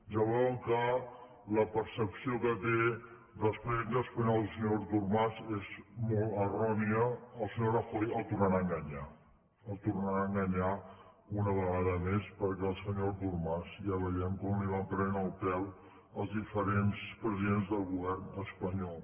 ja veuen que la percepció que té dels presidents espanyols el senyor artur mas és molt errònia el senyor rajoy el tornarà a enganyar el tornarà a enganyar una vegada més perquè al senyor artur mas ja veiem com li van prenent el pèl els diferents presidents del govern espanyol